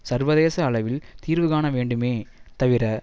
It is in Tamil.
சர்வதேச அளவில் தீர்வுகாண வேண்டுமே தவிர